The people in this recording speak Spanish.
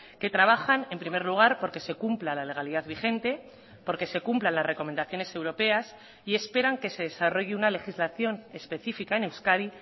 que trabajan en primer lugar porque se cumpla la legalidad vigente porque se cumplan las recomendaciones europeas y esperan que se desarrolle una legislación específica en euskadi